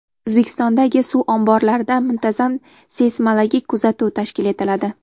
O‘zbekistondagi suv omborlarida muntazam seysmologik kuzatuv tashkil etiladi.